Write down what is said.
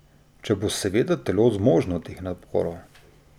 Če bo seveda telo zmožno teh naporov.